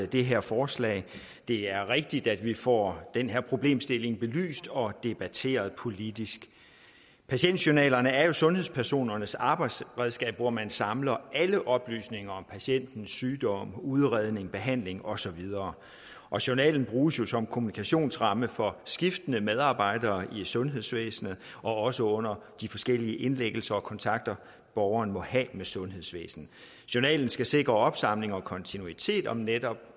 det her forslag det er rigtigt at vi får den her problemstilling belyst og debatteret politisk patientjournalerne er jo sundhedspersonernes arbejdsredskab hvor man samler alle oplysninger om patientens sygdom udredning behandling og så videre journalen bruges jo som kommunikationsramme for skiftende medarbejdere i sundhedsvæsenet og også under de forskellige indlæggelser og kontakter borgeren måtte have med sundhedsvæsenet journalen skal sikre opsamling og kontinuitet om netop